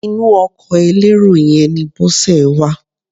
Inú ọkọ elérò yẹn ni Bọ́sẹ̀ wà.